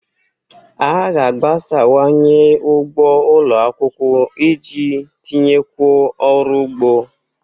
A ga-agbasawanye ugbo ụlọ akwụkwọ iji tinyekwuo ọrụ ugbo.